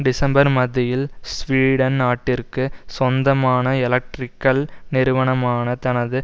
December மத்தியில் Sweden நாட்டிற்கு சொந்தமான எலக்ட்ரிக்கல் நிறுவனமான தனது